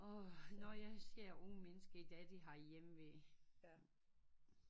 Og når jeg ser unge mennesker i dag de har hjemve